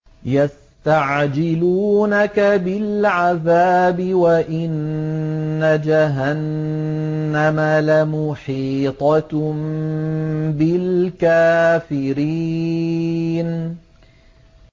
يَسْتَعْجِلُونَكَ بِالْعَذَابِ وَإِنَّ جَهَنَّمَ لَمُحِيطَةٌ بِالْكَافِرِينَ